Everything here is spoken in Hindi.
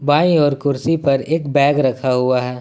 बाईं और कुर्सी पर एक बैग रखा हुआ है।